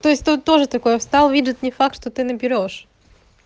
то есть тут тоже такое встал видит не факт что ты наберёшь